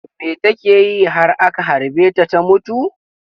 Me take yi har aka harbe ta ta mutu?